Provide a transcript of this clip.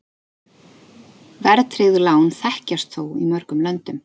Verðtryggð lán þekkjast þó í mörgum löndum.